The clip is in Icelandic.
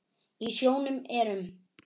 Í sjónum eru um